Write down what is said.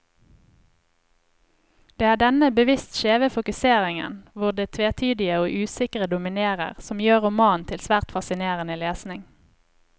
Det er denne bevisst skjeve fokuseringen, hvor det tvetydige og usikre dominerer, som gjør romanen til svært fascinerende lesning.